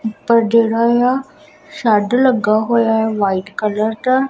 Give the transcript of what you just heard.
ਪਰ ਜਿਹੜਾ ਇਹ ਆ ਸ਼ੈਡ ਲੱਗਾ ਹੋਇਆ ਵਾਈਟ ਕਲਰ ਦਾ।